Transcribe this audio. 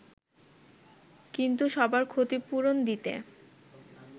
কিন্তু সবার ক্ষতিপূরণ দিতে